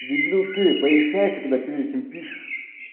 дебил ты поясняйся когда прежде чем пишешь